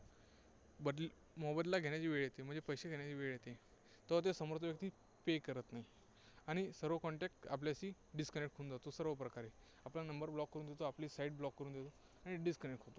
बदली, मोबदला घेण्याची वेळ येते. म्हणजे पैसे घेण्याची वेळ येते तेव्हा तो समोरचा व्यक्ती pay करत नाही. आणि सर्व contact आपल्याशी disconnect होऊन जातो सर्व प्रकारे. आपला number block करून देतो आपली Site block करून देतो आणि disconnect होतो.